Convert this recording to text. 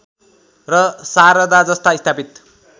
र शारदाजस्ता स्थापित